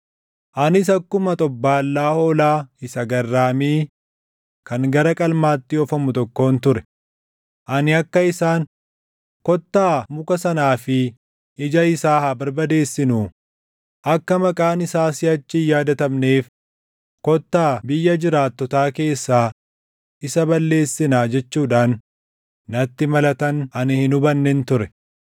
Anis akkuma xobbaallaa hoolaa isa garraamii kan gara qalmaatti oofamu tokkoon ture; ani akka isaan, “Kottaa muka sanaa fi ija isaa haa barbadeessinuu; akka maqaan isaa siʼachi hin yaadatamneef, kottaa biyya jiraattotaa keessaa isa balleessinaa” jechuudhaan natti malatan ani hin hubannen ture.